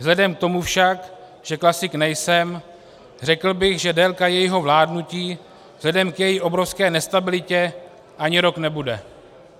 Vzhledem k tomu však, že klasik nejsem, řekl bych, že délka jejího vládnutí vzhledem k její obrovské nestabilitě ani rok nebude.